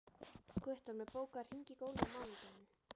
Guttormur, bókaðu hring í golf á mánudaginn.